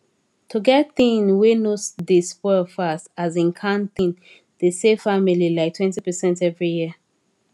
to get thing wey no dey spoil fast asin canned thing dey save family liketwentypercent every year